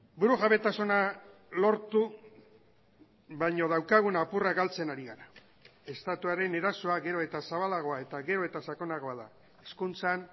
burujabetasuna lortu baino daukagun apurra galtzen ari gara estatuaren erasoa gero eta zabalagoa eta gero eta sakonagoa da hezkuntzan